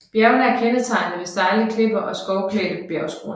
Bjergene er kendetegnet ved stejle klipper og skovklædte bjergskråninger